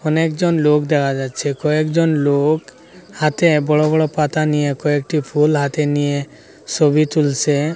অনেকজন লোক দেখা যাচ্ছে কয়েকজন লোক হাতে বড় বড় পাতা নিয়ে কয়েকটি ফুল হাতে নিয়ে সবি তুলসে।